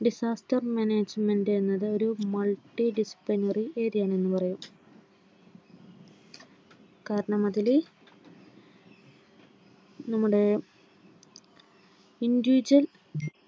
desaster management എന്നത്ഒരു multi dispendary ഏരിയ എന്നു പറയും. കാരണം അതിൽ നമ്മുടെ individual